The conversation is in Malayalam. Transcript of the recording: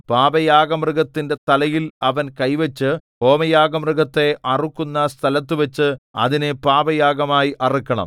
പാപയാഗമൃഗത്തിന്റെ തലയിൽ അവൻ കൈവച്ചു ഹോമയാഗമൃഗത്തെ അറുക്കുന്ന സ്ഥലത്തുവച്ച് അതിനെ പാപയാഗമായി അറുക്കണം